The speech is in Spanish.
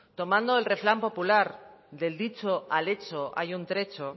tomando el refrán popular del dicho al hecho hay un trecho